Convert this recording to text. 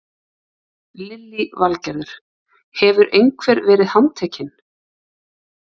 Lillý Valgerður: Hefur einhver verið handtekinn?